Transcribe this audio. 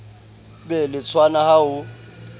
be le tshwano ha ho